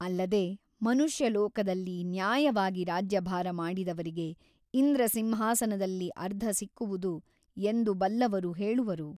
ಅಲ್ಲದೆ ಮನುಷ್ಯಲೋಕದಲ್ಲಿ ನ್ಯಾಯವಾಗಿ ರಾಜ್ಯಭಾರ ಮಾಡಿದವರಿಗೆ ಇಂದ್ರಸಿಂಹಾಸನದಲ್ಲಿ ಅರ್ಧಸಿಕ್ಕುವುದು ಎಂದು ಬಲ್ಲವರು ಹೇಳುವರು.